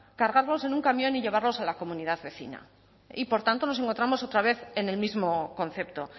cargarlos en un camión y llevarlos a la comunidad vecina y por tanto nos encontramos otra vez en el mismo concepto